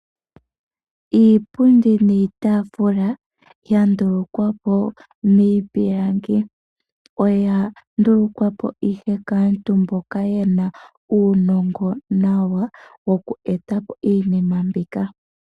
Iipundi niitafula ya ndulukwapo miipilangi, oya ndulukwapo ihe kaantu, mboka yena uunongo nawa woku eta po iinima mbika.